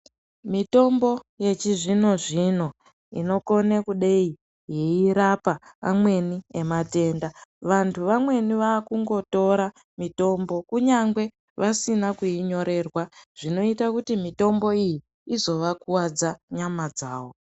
Mitombo yechizvino zvino inokone kudaii airapa amweni vematenda vantu vamweni vakungotora mitombo kunyangwe vasina kuinyorerwa ,zvinoita kuti mitombo iyi izovakwadza nyama dzavo.